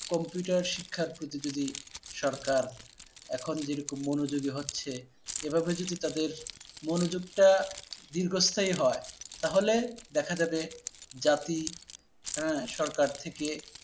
Computer শিক্ষার প্রতি যদি সরকার এখন যে রকম মনোযোগী হচ্ছে। এভাবে যদি তাদের মনোযোগটা দীর্ঘস্থায়ী হয় তাহলে দেখা যাবে জাতি, হ্যাঁ সরকার থেকে